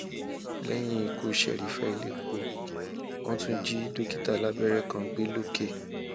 lẹyìn ikú serifa elépo wọn tún ti jí dókítà alábẹrẹ kan gbé lọkẹ